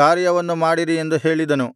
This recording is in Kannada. ಕಾರ್ಯವನ್ನು ಮಾಡಿರಿ ಎಂದು ಹೇಳಿದನು